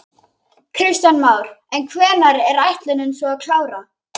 Kristján Már: En hvenær er ætlunin svo að klára?